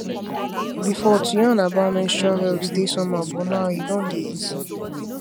before to yarn about menstrual health dey somehow but now e don dey easy